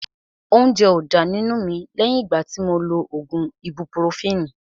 Óúnjẹ ó dá nínú mi lẹ́yìn ìgbà tí mo lo ògùn ibupurofini